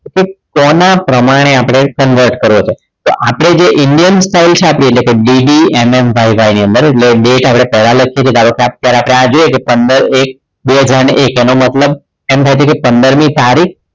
કે કોના પ્રમાણે આપણે સંઘર્ષ કરવો છે તો આપણે જે indian style છે આપણી એટલે કે DDMMYY ની અંદર એટલે date આપણે પહેલા લખીએ છીએ ધારો કે અત્યારે આપણે જોઈએ કે પંદર એક બે હજાર એનો મતલબ એમ થાય છે કે પંદર મી તારીખ